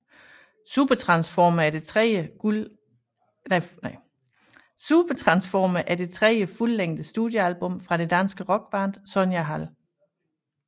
Supertransformer er det tredje fuldlængde studiealbum fra det danske rockband Sonja Hald